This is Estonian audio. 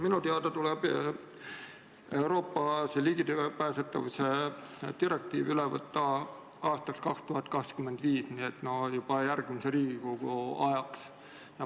Minu teada tuleb Euroopa ligipääsetavuse direktiiv üle võtta aastaks 2025, nii et juba järgmise Riigikogu ajaks.